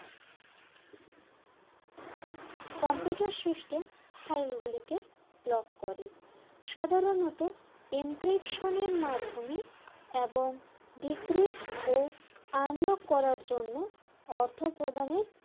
computer system file গুলিকে lock করে সাধারণত encryption এর মাধ্যমে এবং decreat ও unlock করার জন্য অর্থ প্রদানের